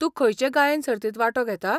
तूं खंयचे गायन सर्तींत वांटो घेता?